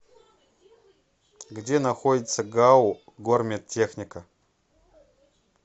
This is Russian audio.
где находится гау гормедтехника